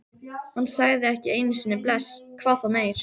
Hann sagði ekki einu sinni bless, hvað þá meir.